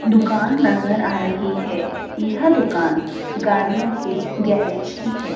दुकान नजर आ रहीं हैं। यह दुकान गाड़ियों के गॅरेज की हैं।